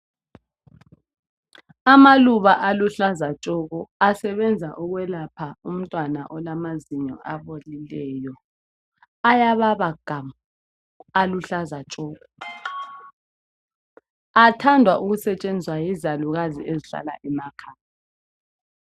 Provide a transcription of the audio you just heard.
Amaluba aluhlaza tshoko asebenza ukwelapha umntwana olamazinyo abolileyo. Ayababa game aluhlaza tshoko. Athandwa ukusetshenziswa yizalukazi ezihlala emakhaya